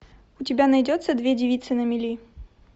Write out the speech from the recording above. у тебя найдется две девицы на мели